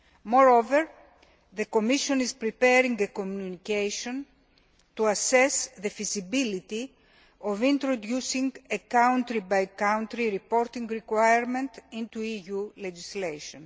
Moreover, the Commission is preparing a Communication to assess the feasibility of introducing a country by country reporting requirement into EU legislation.